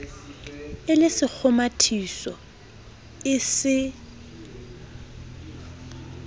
e le sekgomathiso e se